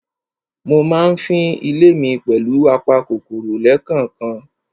Mo ma ń fín ilé mi pẹ̀lù apa kòkòrò lẹ́kànkan.